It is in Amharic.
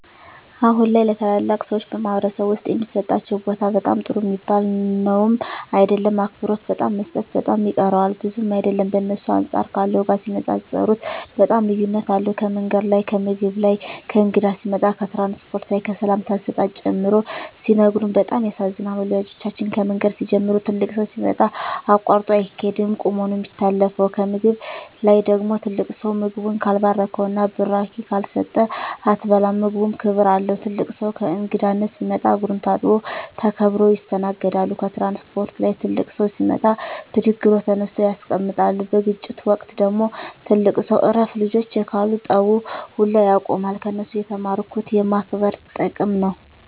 አሁን ላይ ለተላላቅ ሰዎች በማኅበረሰብ ዉስጥ የሚሠጣቸው ቦታ በጣም ጥሩ ሚባል ነዉም አይደለም አክብሮት በጣም መሰጠት በጣም ይቀረዋል ብዙም አይደለም በእነሱ አንጻር ካለው ጋር ሲነጻጽጽሩት በጣም ልዩነት አለዉ ከምንገድ ላይ ከምግብ ላይ ከእንግዳ ሲመጣ ከትራንስፖርት ላይ ከሰላምታ አሰጣጥ ጨምሮ ሲነግሩን በጣም ያሳዝናል ወላጆቻችን ከምንገድ ሲንጀምሩ ትልቅ ሠው ሲመጣ አቃርጦ አይቂድም ቁመ ነው ምታሳልፈው ከምግብ ላይ ደግሞ ትልቅ ሰው ምግቡን ካልባረከዉና ብራቂ ካልሰጠ አትበላም ምግቡም ክብር አለው ትልቅ ሰው ለእንግዳነት ሲመጣ እግሩን ታጥቦ ተከብረው ይስተናገዳሉ ከትራንስፖርት ላይ ትልቅ ሰው ሲመጣ ብድግ ብለው ተነስተው ያስቀምጣሉ በግጭት ወቅት ደግሞ ትልቅ ሰው እረፍ ልጆቸ ካሉ ጠቡ ውላ ያቆማሉ ከነሱ የተማርኩት የማክበር ጥቅም ነው